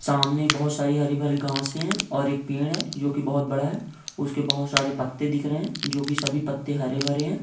सामने बहुत सारी हरी-भरी घास है और एक पेड़ है जो की बहुत बड़ा है उसके बहुत सारे पत्ते दिख रहे है जो की सभी पत्ते हरे-भरे है।